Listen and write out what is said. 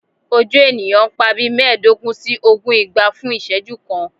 Oju eniyan n pa bii meedogun si ogun igba fun iseju kan